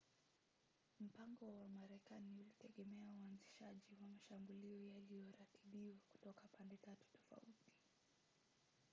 mpango wa marekani ulitegemea uanzishaji wa mashambulio yaliyoratibiwa kutoka pande tatu tofauti